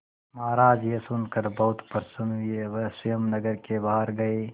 महाराज यह सुनकर बहुत प्रसन्न हुए वह स्वयं नगर के बाहर गए